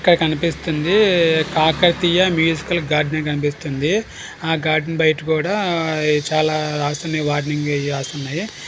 ఇక్కడ కనిపిస్తుంది కాకతీయ మ్యూసికల్గా గార్డెన్ అని కనిపిస్తుంది. ఆ గార్డెన్ బయట కూడా చాలా రాశి ఉన్నాయి వార్నింగ్ అయి రాసి ఉన్నాయి.